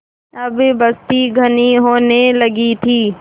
अब बस्ती घनी होने लगी थी